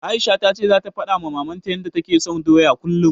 Aisha ta ce zata faɗawa Mamanta yanda take son doya kullum.